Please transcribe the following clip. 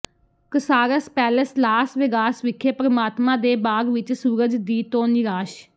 Caesars palace Las Vegas ਵਿਖੇ ਪ੍ਰਮਾਤਮਾ ਦੇ ਬਾਗ਼ ਵਿਚ ਸੂਰਜ ਦੀ ਤੋਂ ਨਿਰਾਸ਼